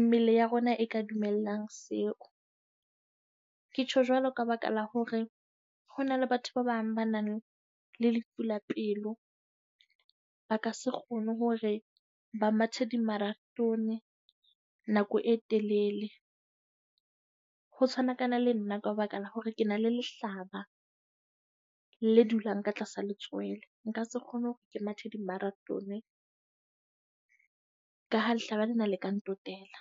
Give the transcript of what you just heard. mmele ya rona e ka dumelang seo. Ke tjho jwalo ka baka la hore ho na le batho ba bang ba nang le lefu la pelo. Ba ka se kgone hore ba mathe di-marathon nako e telele. Ho tshwanakana le nna ka baka la hore ke na le lehlaba le dulang ka tlasa le tswele. Nka se kgone hore ke mathe di-marathon. Ka ha lehlaba le na le ka nna ntotela.